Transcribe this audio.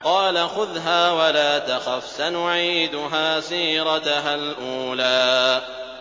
قَالَ خُذْهَا وَلَا تَخَفْ ۖ سَنُعِيدُهَا سِيرَتَهَا الْأُولَىٰ